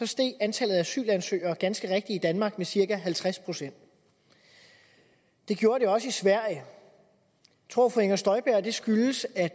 steg antallet af asylansøgere ganske i danmark med cirka halvtreds procent det gjorde det også i sverige tror fru inger støjberg at det skyldes at